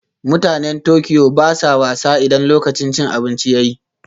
Mutanen Tokyo ba sa wasa idan lokacin cin abinci ya yi